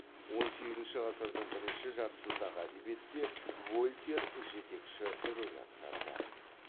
он сегізінші ғасырдың бірінші жартысындағы әдебиетте вольтер жетекші рөл атқарды